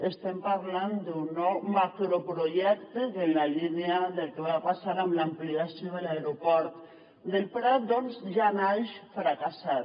estem parlant d’un nou macroprojecte que en la línia del que va passar amb l’ampliació de l’aeroport del prat doncs ja naix fracassat